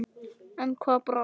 En hvað brást?